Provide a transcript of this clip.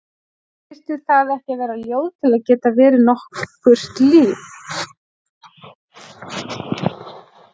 Þyrfti það ekki að vera ljóð til að geta verið nokkurt líf?